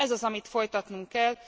Ez az, amit folytatnunk kell.